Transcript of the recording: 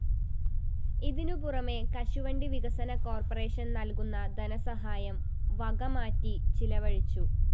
ഇതിനുപുറമേ കശുവണ്ടി വികസന കോര്‍പ്പറേഷന് നല്‍കുന്ന ധനസഹായം വകമാറ്റി ചിലവഴിച്ചു